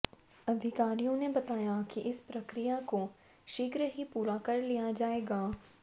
अधिकारियों ने बताया की इस प्रक्रिया को शीघ्र ही पूरा कर लिया जाएगा